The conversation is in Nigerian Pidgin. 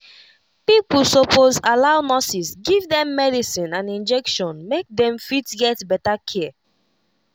pipo suppose allow nurses give them medicine and injection make them fit get better care